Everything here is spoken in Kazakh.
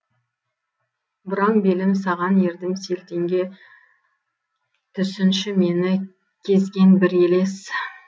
бұраң белім саған ердім селтеңге түсінші мені кезген бір елес